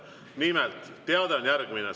Nimelt, teade on järgmine.